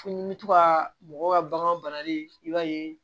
Fo ni bɛ to ka mɔgɔw ka bagan banali i b'a ye